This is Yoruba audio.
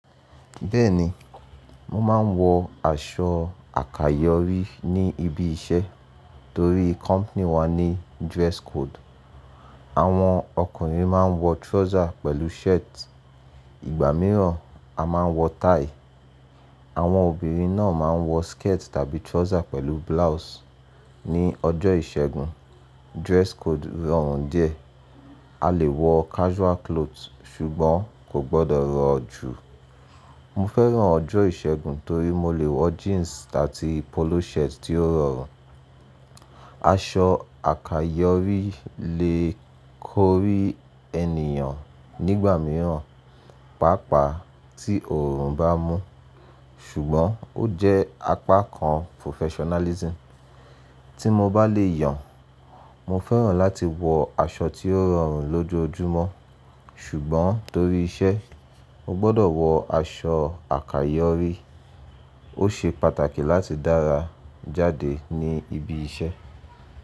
Bẹ́ẹ̀ni, mo máa ń wọ aṣọ àkayọrí ní ibi iṣẹ́ torí company wa ní dress code. Àwọn ọkùnrin máa ń wọ trouser pẹ̀lú shirt, ìgbà mìíràn a máa ń wọ tie. Àwọn obìnrin náà máa ń wọ skirt tàbí trouser pẹ̀lú blouse. Ni ọjọ́ ìṣẹ́gun, dress code rọrùn díẹ̀. A lè wọ casual clothes ṣùgbọ́n kò gbọdọ̀ rọ jù. Mo fẹ́ràn ọjọ́ ìṣẹ́gun torí mo lè wọ jeans atí polo shirt tí ó rọrùn. Aṣọ àkayọrí lè kórí ènìyàn nígbà mìíràn, pàápàá tí oòrùn bá mú. Ṣùgbọ́n ó jẹ́ apá kan professionalism. Tí mo bá lè yàn, mo fẹ́ràn láti wọ aṣọ tí ó rọrùn lójoojúmọ́. Ṣùgbọ́n torí iṣẹ́, mo gbọdọ̀ wọ aṣọ àkayòrí. Ó ṣe pàtàkì láti dára jáde ní ibi iṣẹ́.